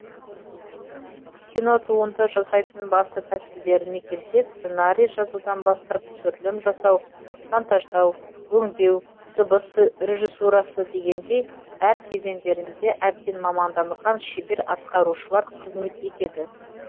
кинотуынды жасайтын басты тәсілдеріне келсек сценарий жазудан бастап түсірілім жасау монтаждау өңдеу дыбыс режиссурасы дегендей әр кезеңдерінде әбден маманданған шебер атқарушылар қызмет етеді